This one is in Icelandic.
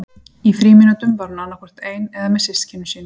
Í frímínútum var hún annað hvort ein eða með systkinum sínum.